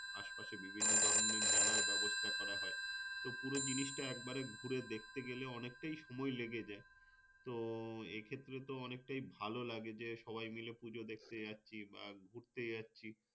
আশপাশে বিভিন্ন ধরনের মেলার ব্যবস্থা করা হয়। তো পুরো জিনিসটা একবারে ঘুরে দেখতে গেলে অনেকটা সময় লেগে যায়। তো এক্ষেত্রে তো অনেকটাই ভালো লাগে যে, সবাই মিলে পূজো দেখতে যাচ্ছি বা ঘুরতে যাচ্ছি।